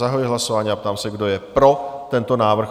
Zahajuji hlasování a ptám se, kdo je pro tento návrh?